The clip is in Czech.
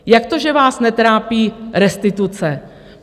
Jak to, že vás netrápí restituce?